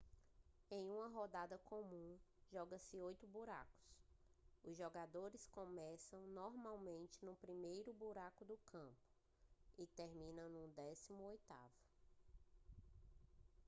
em uma rodada comum joga-se oito buracos os jogadores começam normalmente no primeiro buraco do campo e terminam no décimo oitavo